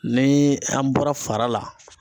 Ni an bɔra fara la